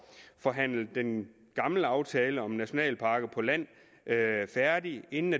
forhandlet den gamle aftale om nationalparker på land færdig inden